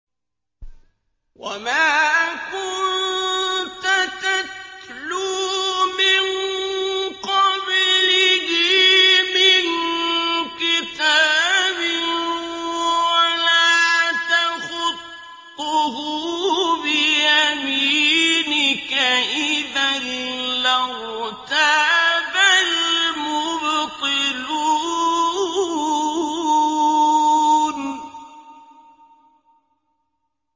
وَمَا كُنتَ تَتْلُو مِن قَبْلِهِ مِن كِتَابٍ وَلَا تَخُطُّهُ بِيَمِينِكَ ۖ إِذًا لَّارْتَابَ الْمُبْطِلُونَ